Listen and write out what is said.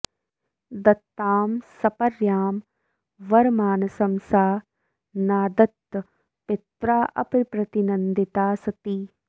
दत्तां सपर्यां वरमासनं च सा नादत्त पित्राऽप्रतिनन्दिता सती